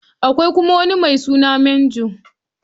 Akwai kuma wani mai suna Major.